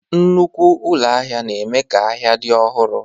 Nnukwu ụlọ ahịa na-eme ka ahịa dị ọhụrụ